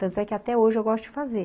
Tanto é que até hoje eu gosto de fazer.